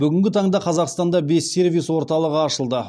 бүгінгі таңда қазақстанда бес сервис орталығы ашылды